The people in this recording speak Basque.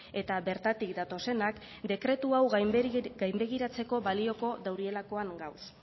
eta bertatik datozenak dekretu hau gainbegiratzeko balioko daurielakoan gauz